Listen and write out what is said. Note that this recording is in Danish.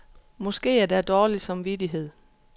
Måske er der dårlig samvittighed.